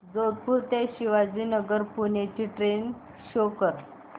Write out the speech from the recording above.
जोधपुर ते शिवाजीनगर पुणे ची train show कर